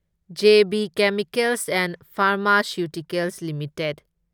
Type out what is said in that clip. J B chemicals and pharmaceuticals limited